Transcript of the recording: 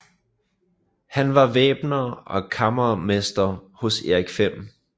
Han var væbner og kammermester hos Erik 5